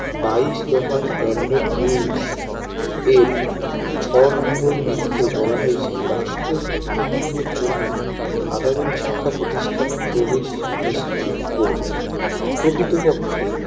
বাইশ দফা Scanded Rules এর ছয় নম্বর নীতিতে বলা হয়েছে রাষ্ট্র প্রতিবন্ধীদের জন্য সাধারন শিক্ষাপ্রতিষ্ঠানে প্রবেশ নিশ্চিত করবে প্রকৃতপক্ষে